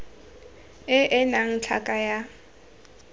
e e nnang tlhaka ya